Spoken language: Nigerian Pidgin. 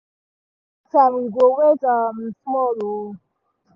trust take time we go wait um small. um